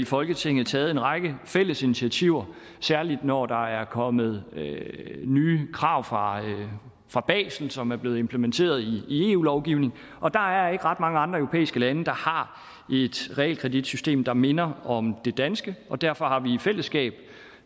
folketinget taget en række fælles initiativer særlig når der er kommet nye krav fra fra basel som er blevet implementeret i eu lovgivning og der er ikke ret mange andre europæiske lande der har et realkreditsystem der minder om det danske og derfor har vi i fællesskab